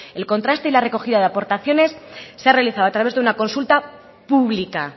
el contraste y la recogida de aportaciones se ha realizado a través de una consulta pública